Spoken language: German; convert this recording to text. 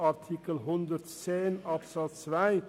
Artikel 110 Absatz 2